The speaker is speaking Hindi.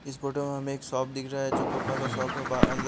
इस फोटो में हमें एक शॉप दिख रहा है जो कपड़ों का शॉप है बा अंदर--